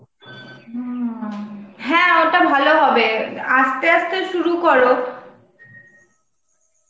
হম হ্যাঁ, ওটা ভালো হবে, অ্যাঁ আস্তে আস্তে শুরু করো.